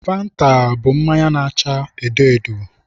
Fanta bụ mmanya na-acha edo edo.